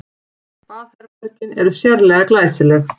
Baðherbergin eru sérlega glæsileg